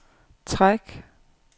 træk